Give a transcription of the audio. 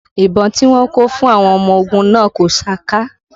Ìbọn tí wọ́n kó fún àwọn ọmọ ogun náà kò saka